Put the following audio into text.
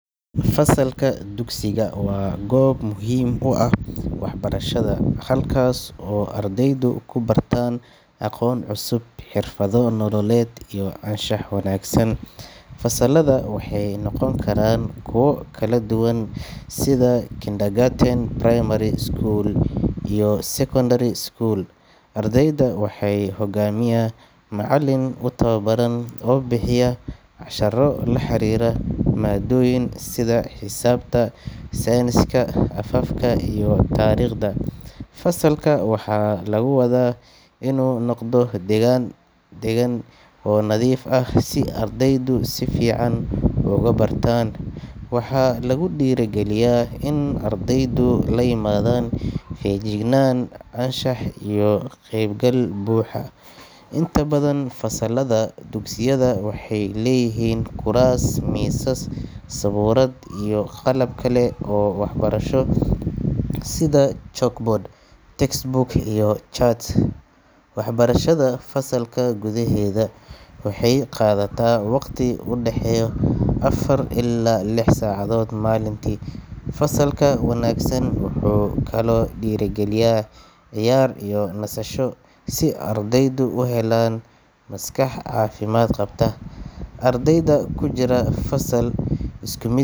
Fasalka dugsigu waa goob muhiim u ah waxbarashada, halkaas oo ardaydu ku bartaan aqoon cusub, xirfado nololeed, iyo anshax wanaagsan. Fasallada waxay noqon karaan kuwo kala duwan sida kindergarten, primary school, iyo secondary school. Ardayda waxaa hogaamiya macallin u tababaran oo bixiya casharro la xiriira maadooyin sida xisaabta, sayniska, afafka, iyo taariikhda. Fasalka waxaa lagu wadaa inuu noqdo deegaan deggan oo nadiif ah si ardaydu si fiican ugu bartaan. Waxaa lagu dhiirrigeliyaa in ardaydu la yimaadaan feejignaan, anshax, iyo ka qaybgal buuxa. Inta badan fasallada dugsiyada waxay leeyihiin kuraas, miisas, sabuurad, iyo qalab kale oo waxbarasho sida chalkboard, textbooks, iyo charts. Waxbarashada fasalka gudaheeda waxay qaadataa waqti u dhexeeya afar ilaa lix saacadood maalintii. Fasalka wanaagsan wuxuu kaloo dhiirrigeliyaa ciyaar iyo nasasho si ardaydu u helaan maskax caafimaad qabta. Ardayda ku jira fasal isku mid.